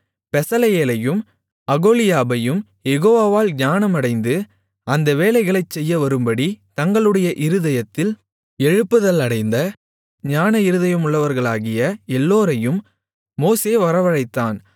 பெசலெயேலையும் அகோலியாபையும் யெகோவாவால் ஞானமடைந்து அந்த வேலைகளைச் செய்யவரும்படி தங்களுடைய இருதயத்தில் எழுப்புதலடைந்த ஞான இருதயமுள்ளவர்களாகிய எல்லோரையும் மோசே வரவழைத்தான்